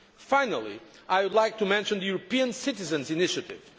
years. Finally, I would like to mention the European Citizens' Initiative.